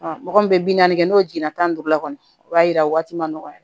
mɔgɔ min bɛ bi naani kɛ n'o jɛnna tan ni duuru la kɔni o b'a yira waati ma nɔgɔya